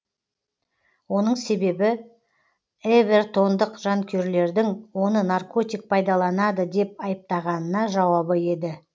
оның себебі эвертондық жанкүйерлердің оны наркотик пайдаланады деп айыптағанына жауабы еді